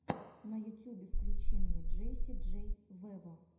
на ютюбе включи мне джесси джей вево